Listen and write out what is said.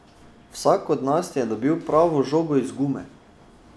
Vsak od nas je dobil pravo žogo iz gume!